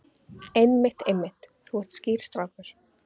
Einmitt, einmitt, þú ert skýr strákur.